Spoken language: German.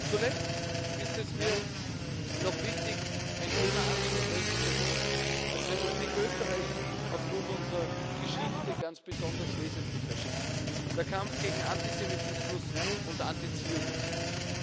Zuletzt ist es mir noch wichtig, ein Thema anzusprechen, das uns als Republik Österreich aufgrund unserer Geschichte ganz besonders wesentlich erscheint der Kampf gegen Antisemitismus und Antizionismus.